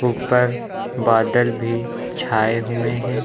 ऊपर बादल भी छाए हुए हैं।